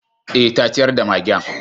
Eh, ta ciyar da magen.